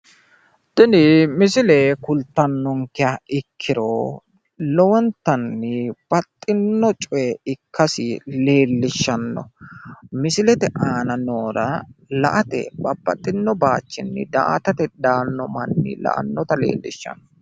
Tini misile kultannonkeha ikkiro lowontanni baxxinno coye ikkasi leellishshanno. Misilete aana noore la"ate babbaxino bayichinni daa"atate daanno manni daannota leellishshanno.